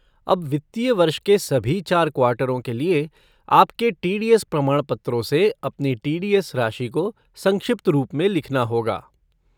अब वित्तीय वर्ष के सभी चार क्वार्टरों के लिए आपके टी डी एस प्रमाणपत्रों से अपनी टी.डी.एस. राशि को संक्षिप्त रूप में लिखना होगा।